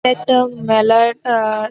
একটা মেলার আ --